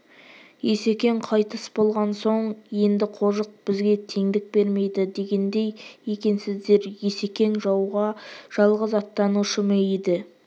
есекең қайтыс болған соң енді қожық бізге теңдік бермейді дегендей екенсіздер есекең жауға жалғыз аттанушы ма еді